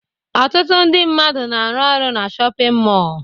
Ọtụtụ ndị mmadụ na-arụ na shọpịn mọọ